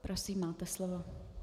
Prosím, máte slovo.